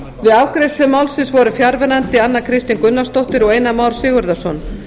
við afgreiðslu málsins voru fjarverandi anna kristín gunnarsdóttir og einar már sigurðarson